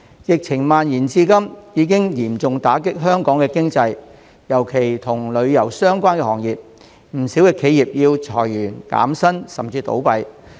疫情蔓延至今已嚴重打擊香港經濟，尤其與旅遊相關的行業，不少企業要裁員、減薪，甚至倒閉。